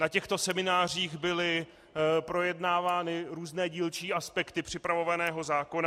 Na těchto seminářích byly projednávány různé dílčí aspekty připravovaného zákona.